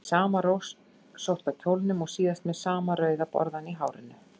Í sama rauðrósótta kjólnum og síðast og með sama rauða borðann í hárinu.